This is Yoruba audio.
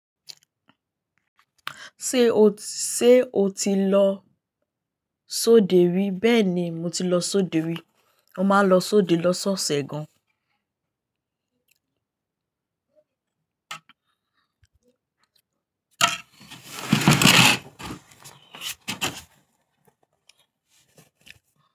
Ṣé o ti lọ sóde rí? Bẹ́ẹ̀ni, mo ti lọ sóde rí. Mo máa ń lọ sóde lọ́sọ̀ọ̀sẹ̀ gan.